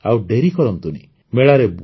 ଅତଏବ ଆଉ ଡେରି କରନ୍ତୁନି